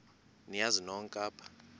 niyazi nonk apha